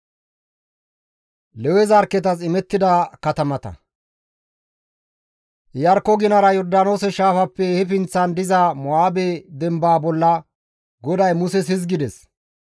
Iyarkko ginara Yordaanoose shaafappe he pinththan diza Mo7aabe dembaa bolla GODAY Muses hizgides,